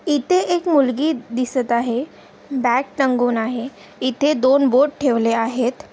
इथे एक मुलगी दिसत आहे बॅग तंगुण आहे इथे दोन बोर्ड ठेवले आहेत.